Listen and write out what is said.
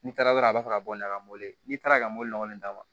N'i taara dɔrɔn a b'a fɛ ka bɔ n'a ye ka mobili n'i taara ka mɔbilɔgɔ nin d'a ma